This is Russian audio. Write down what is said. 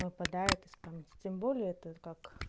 выпадает из памяти тем более это как